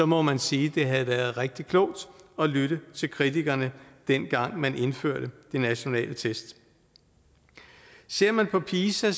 må man sige det havde været rigtig klogt at lytte til kritikerne dengang man indførte de nationale test ser man på pisa